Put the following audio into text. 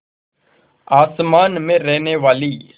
आसमान में रहने वाली